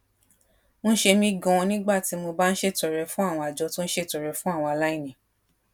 ń ṣe mí ganan nígbà tá a bá ń ṣètọrẹ fún àwọn àjọ tó ń ṣètọrẹ fún àwọn aláìní